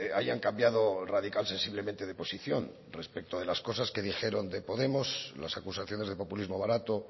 hayan cambiado radical sensiblemente de posición respecto de las cosas que dijeron de podemos las acusaciones de populismo barato